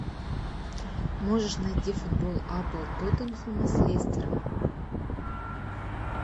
можешь найти футбол апл тоттенхэма с лестером